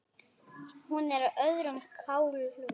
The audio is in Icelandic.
Hún er á öðrum kálfi.